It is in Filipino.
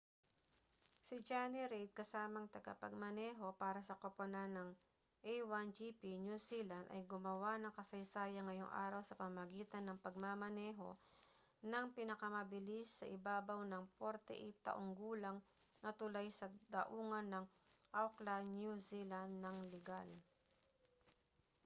si jonny reid kasamang tagapagmaneho para sa koponan ng a1gp new zealand ay gumawa ng kasaysayan ngayong araw sa pamamagitan ng pagmamaneho nang pinakamabilis sa ibabaw ng 48-taong gulang na tulay sa daungan ng auckland new zealand nang ligal